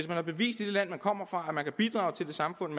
har bevist i det land man kommer fra at man kan bidrage til det samfund